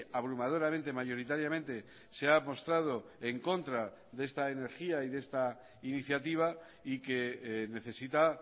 abrumadoramente mayoritariamente se ha mostrado en contra de esta energía y de esta iniciativa y que necesita